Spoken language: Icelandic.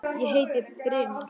Ég heiti Brimar.